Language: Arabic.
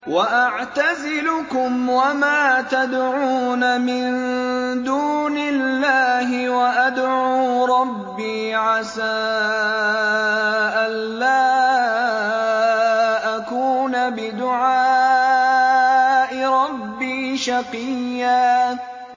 وَأَعْتَزِلُكُمْ وَمَا تَدْعُونَ مِن دُونِ اللَّهِ وَأَدْعُو رَبِّي عَسَىٰ أَلَّا أَكُونَ بِدُعَاءِ رَبِّي شَقِيًّا